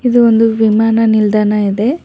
ಇದು ಒಂದು ವಿಮಾನ ನಿಲ್ದಾಣ ಇದೆ.